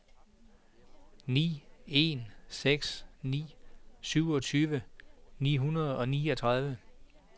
ni en seks ni syvogtyve ni hundrede og niogtredive